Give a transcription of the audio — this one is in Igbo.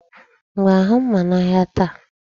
M ga-ahụ mma n'ahịa taa?